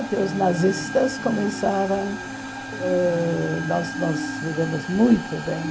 Até os nazistas começarem ãh... Nós nós vivemos muito bem.